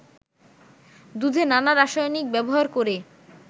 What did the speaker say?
দুধে নানা রাসায়নিক ব্যবহার করে